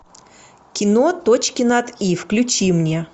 кино точки над и включи мне